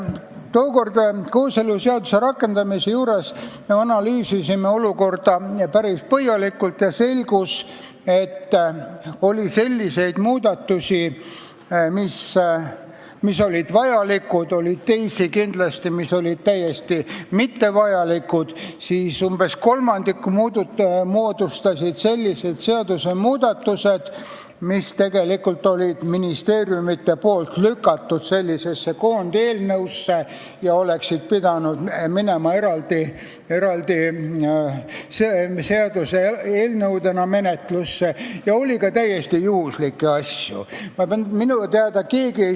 Kooseluseaduse rakendamise seaduse juures me analüüsisime olukorda päris põhjalikult ja selgus, et oli selliseid muudatusi, mis olid vajalikud, oli kindlasti ka teisi, mis olid täiesti mittevajalikud, ning umbes kolmandiku moodustasid sellised seadusmuudatused, mille olid ministeeriumid sellesse koondeelnõusse lükanud, kuigi need oleksid pidanud minema menetlusse eraldi seaduseelnõudena, ja oli ka täiesti juhuslikke asju.